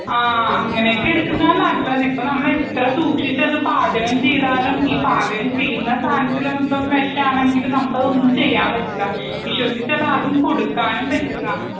ആ അങ്ങനെയൊക്കെ എടുക്കുന്നതാ നല്ലതിപ്പ നമ്മളിപ്പം എത്ര സൂക്ഷിച്ചത് പാചകം ചെയ്താലും ഈ പാചകം ചെയ്യുന്ന സദനത്തിൽ മൊത്തം വേഷാണെങ്കിലും നമുക്കത് ഒന്നും ചെയ്യാൻ പറ്റില്ല. വിശ്വസിച്ചു അതാർക്കും. കൊടുക്കാനും പറ്റില്ല.